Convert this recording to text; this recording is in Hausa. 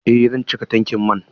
Eh zan cika tankin man.